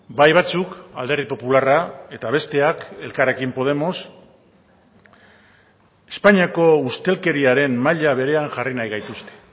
bai batzuk alderdi popularra eta besteak elkarrekin podemos espainiako ustelkeriaren maila berean jarri nahi gaituzte